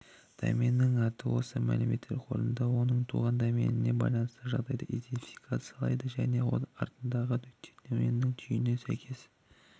доменнің аты осы мәлімет қорында оның туған доменіне байланысты жағдайын идентификациялайды және де аттарындағы нүкте доменнің түйініне сәйкес